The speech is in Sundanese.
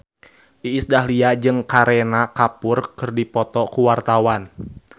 Iis Dahlia jeung Kareena Kapoor keur dipoto ku wartawan